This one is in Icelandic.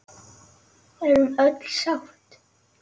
Við erum öll sátt.